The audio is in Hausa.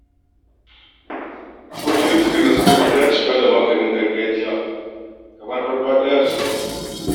Akwai cututtukan da suka fi dacewa da maganin garjiya, kamar farfaɗiya da sauransu.